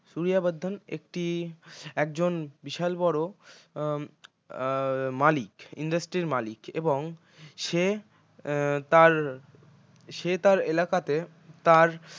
সূরিয়া বর্ধন একটি একজন বিশাল বড় আহ মালিক industry র মালিক এবং সে উম তার সে তার এলাকাতে তার